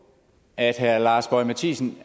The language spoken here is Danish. at herre lars boje mathiesen